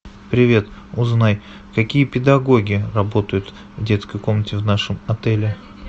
привет узнай какие педагоги работают в детской комнате в нашем отеле